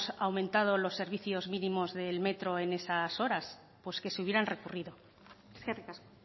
aumentado los servicios mínimos del metro en esas horas pues que se hubieran recurrido eskerrik asko